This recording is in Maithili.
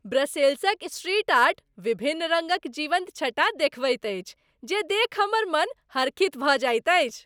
ब्रसेल्सक स्ट्रीट आर्ट, विभिन्न रङ्गक जीवन्त छटा देखबैत अछि जे देखि हमर मन हर्षित भऽ जाइत अछि।